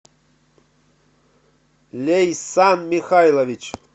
лейсан михайлович